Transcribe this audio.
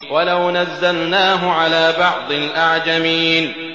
وَلَوْ نَزَّلْنَاهُ عَلَىٰ بَعْضِ الْأَعْجَمِينَ